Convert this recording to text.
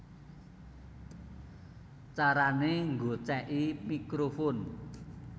Carané Nggocèki Mikrofon